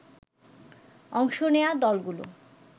অংশ নেয়া দলগুলো